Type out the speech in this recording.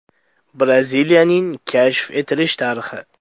Braziliyaning kashf etilish tarixi.